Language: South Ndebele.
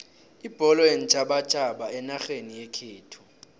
ibholo yeentjhabatjhaba enarheni yekhethu